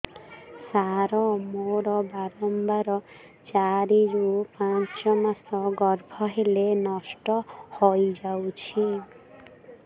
ସାର ମୋର ବାରମ୍ବାର ଚାରି ରୁ ପାଞ୍ଚ ମାସ ଗର୍ଭ ହେଲେ ନଷ୍ଟ ହଇଯାଉଛି